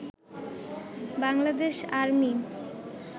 Bangladesh army